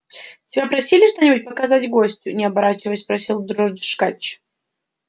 тебя просили что нибудь показать гостю не оборачиваясь спросил дрожкач